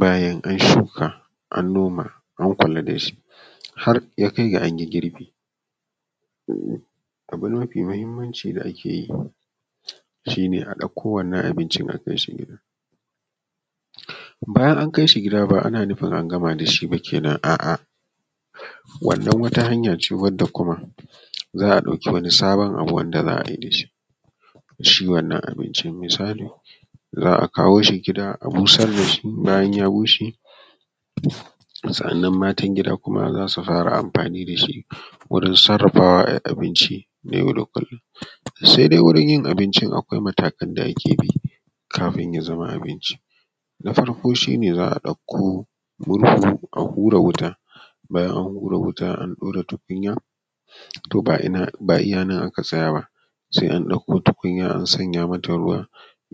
Bayan an shuka an noma an kula da shi har ya kai da an yi girbi, abu mafi muhimmanci da ake yi shi ne a ɗauko wannan abincin akai shi gida bayan an kai shi gida bawai ana nufin an gama da shi bane, a wannan wata hanya ce wadda kuma za a dauki wani sabon abu wanda za a yi da su da shi wannan abincin, misali za a kawo shi gida abusar da shi bayan ya bushe sa’annan matan gida kuma zasu fara amfani da shi wurin sarafawa ayi abinci na yau da kullum, sai dai wurin yin abinci akwai matakai da ake bi kafin ya zama abinci na farko shi ne za a ɗauko murhu a hura wuta a ɗaura tukunya, to ba iya nan aka tsaya ba sai an ɗauko tukunya an sanya mata ruwa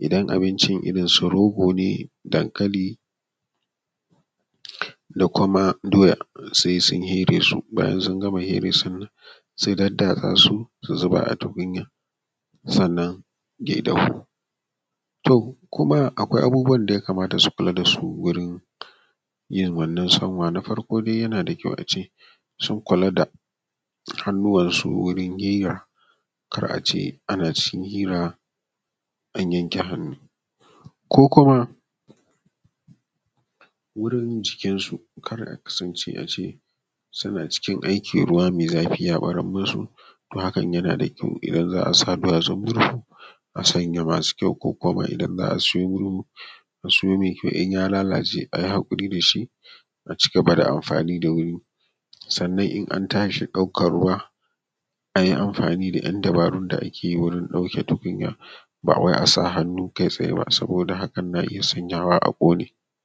idan abincin irin su rogo ne dankali da kuma doya sai sun fere su bayan sungama fere su sai a daddatsa, su zuba a tukunya sannan ya dafu to kuma akwai abubuwan da ya kamata su fara kula dasu wurin yin wannan sanwa, na farko dai yana da kyau ace sun kula da hannuwan su wurin fira kar ace ana cikin fira an yanke hannu ko kuma wurin yin cikin su, kada a kasance ana cikin aikin ruwa mai zafi ya barar musu to hakan yana da kyau idan za a sa duwasun murhu a sanya masu kyau ko kuma idan za a siyo murhu a siyo mai kyau in ya lalace ayi hakuri da shi a cigaba da amfani da wani, sannan idan an tashi ɗaukan ruwa ayi amfani da yan dabaru da ake wurin ɗaukan tukunya bawai asa hannu kai tsaye ba saboda hakan na iya sanyawa a ƙone.